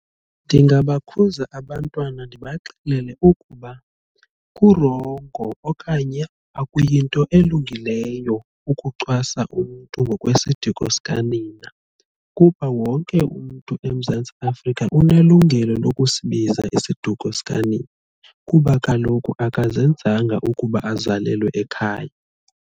Ndingabakhuza abantwana ndibaxelele ukuba kurongo okanye akuyinto elungileyo ukucwasa umntu ngokwesiduko sika nina kuba wonke umntu eMzantsi Afrika unelungelo lokusibiza isiduko sikanina kuba kaloku akazenzanga ukuba azalelwe ekhaya.